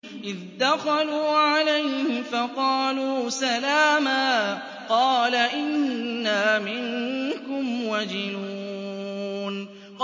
إِذْ دَخَلُوا عَلَيْهِ فَقَالُوا سَلَامًا قَالَ إِنَّا مِنكُمْ وَجِلُونَ